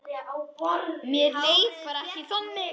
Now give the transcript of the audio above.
Mér leið bara ekki þannig.